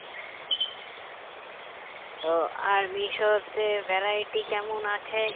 তো আর মিশাতে variety কেমন আছে